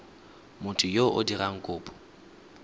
motho yo o dirang kopo